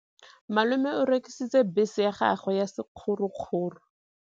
Malome o rekisitse bese ya gagwe ya sekgorokgoro.